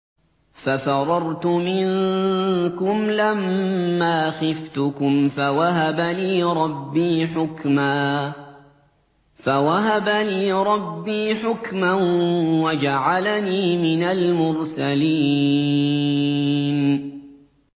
فَفَرَرْتُ مِنكُمْ لَمَّا خِفْتُكُمْ فَوَهَبَ لِي رَبِّي حُكْمًا وَجَعَلَنِي مِنَ الْمُرْسَلِينَ